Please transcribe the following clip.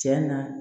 Cɛn na